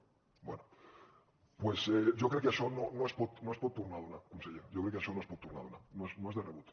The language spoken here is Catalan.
doncs jo crec que això no es pot tornar a donar conseller jo crec que això no es pot tornar a donar no és de rebut